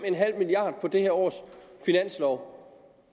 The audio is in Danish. milliard kroner på det her års finanslov